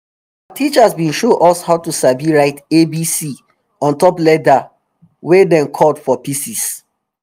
our teacher bin show us how to sabi write abc on top leather wey dem cut for pieces